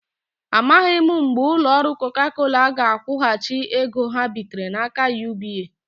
Amaghị mgbe ụlọ ọrụ Coca Cola ga-akwụghachi ego ha bitere n'aka UBA.